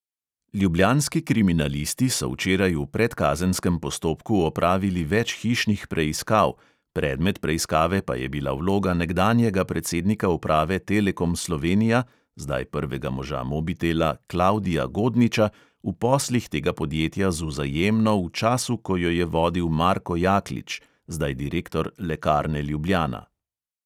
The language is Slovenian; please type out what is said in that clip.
Ljubljanski kriminalisti so včeraj v predkazenskem postopku opravili več hišnih preiskav, predmet preiskave pa je bila vloga nekdanjega predsednika uprave telekom slovenija (zdaj prvega moža mobitela) klavdija godniča v poslih tega podjetja z vzajemno v času, ko jo je vodil marko jaklič (zdaj direktor lekarne ljubljana).